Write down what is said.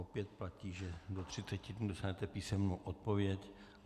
Opět platí, že do třiceti dnů dostanete písemnou odpověď.